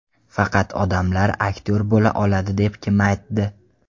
Faqat odamlar aktyor bo‘la oladi deb kim aytdi?